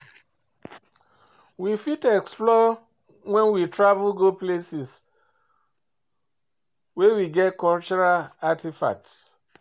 we fit explore when we travel go places wey get cultural artefacts